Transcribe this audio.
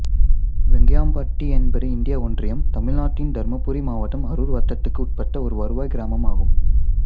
வேங்கியாம்பட்டி என்பது இந்திய ஒன்றியம் தமிழ்நாட்டின் தருமபுரி மாவட்டம் அரூர் வட்டத்துக்கு உட்பட்ட ஒரு வருவாய் கிராமம் ஆகும்